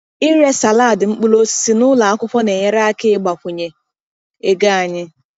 Ire salad mkpụrụ osisi n’ụlọ akwụkwọ na-enyere aka ịbawanye ego anyị.